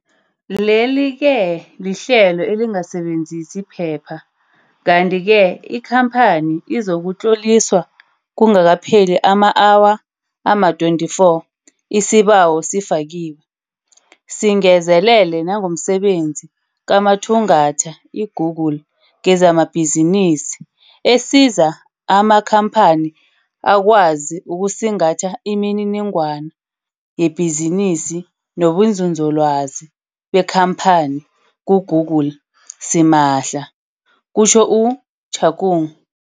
Leli-ke lihlelo elingasebenzisi phepha kanti-ke ikhamphani izakutloliswa kungakapheli ama-awa ama-24 isibawo sifakiwe. Singezelele nangomsebenzi kamathungatha iGoogle kezamabhizinisi esiza amakhamphani akwazi ukusingatha imininingwana yebhizinisi nobunzinzolwazi bekhamphani kuGoogle, simahla, kutjho u-Shakung.